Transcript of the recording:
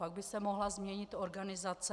Pak by se mohla změnit organizace.